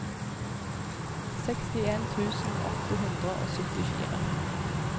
sekstien tusen åtte hundre og syttifire